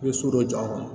I bɛ so dɔ jɔ a kɔnɔ